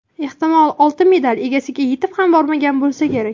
Ehtimol, oltin medal egasiga yetib ham bormagan bo‘lsa kerak.